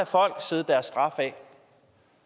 folk sidde deres straf af